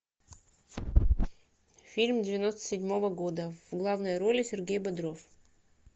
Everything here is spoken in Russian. фильм девяносто седьмого года в главной роли сергей бодров